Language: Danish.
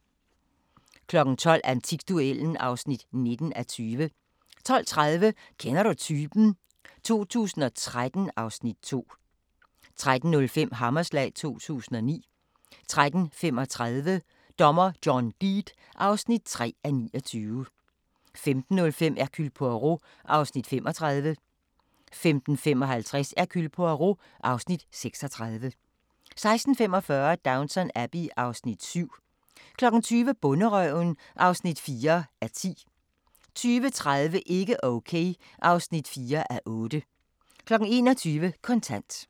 12:00: Antikduellen (19:20) 12:30: Kender du typen? 2013 (Afs. 2) 13:05: Hammerslag 2009 13:35: Dommer John Deed (3:29) 15:05: Hercule Poirot (Afs. 35) 15:55: Hercule Poirot (Afs. 36) 16:45: Downton Abbey (Afs. 7) 20:00: Bonderøven (4:10) 20:30: Ikke okay (4:8) 21:00: Kontant